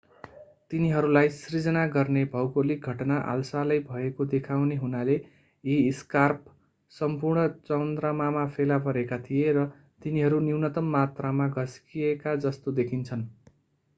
तिनीहरूलाई सिर्जना गर्ने भौगोलिक घटना हालसालै भएको देखाउने हुनाले यी स्कार्प सम्पूर्ण चन्द्रमामा फेला परेका थिए र तिनीहरू न्यूनतम मात्रामा घस्किएका जस्तो देखिन्छन्